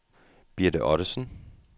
Birte Ottesen